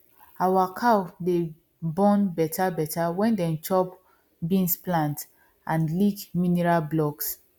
our cow dey born better better when dem chop beans plant and lick mineral blocks